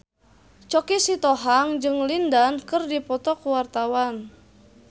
Choky Sitohang jeung Lin Dan keur dipoto ku wartawan